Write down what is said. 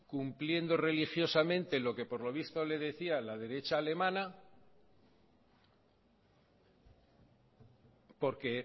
cumpliendo religiosamente lo que por lo visto le decía la derecha alemana porque